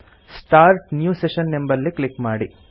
start new session ಎಂಬಲ್ಲಿ click ಮಾಡಿ